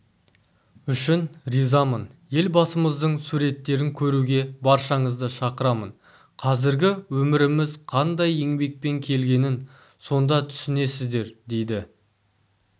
үшін ризамын елбасымыздың суреттерін көруге баршаңызды шақырамын қазіргі өміріміз қандай еңбекпен келгенін сонда түсінесіздер дейді